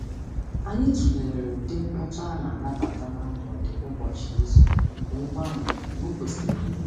Anyị tụlere ụdị mkpọtụ a na-anabata na mgbede ụbọchị izu wee gbanwee n'okwesiri ya.